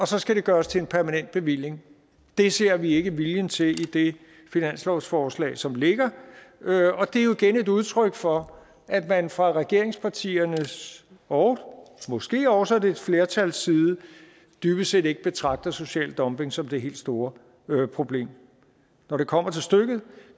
så skal gøres til en permanent bevilling det ser vi ikke viljen til i det finanslovsforslag som ligger og det er jo igen et udtryk for at man fra regeringspartiernes og måske også et flertals side dybest set ikke betragter social dumping som det helt store problem når det kommer til stykket